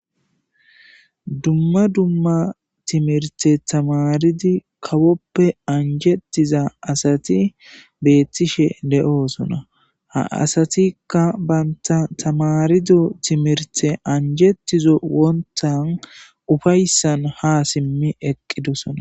dumma dumma timirte tamaridi kawoppe anjettiza asati beettishe de7oosona ha asatikka baynta tamarido timirte anjetizo wontan ufayssan ha simmi eqqidosona